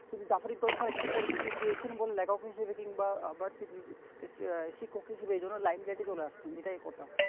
তিনি জাফারিক জলসার একটু পরিচিতি পেয়েছেন বলে লেখক হিসাবে কিংবা আবার আহ শিক্ষক হিসাবে এই জন্য limeline এ চলে আসছেন এটাই একটা